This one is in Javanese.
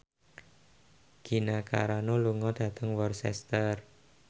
Gina Carano lunga dhateng Worcester